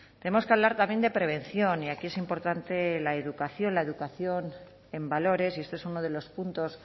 tenemos que hablar también de prevención y aquí es importante la educación la educación en valores y este es uno de los puntos